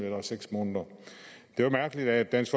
eller seks måneder det var mærkeligt at dansk